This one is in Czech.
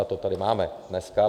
A to tady máme dneska.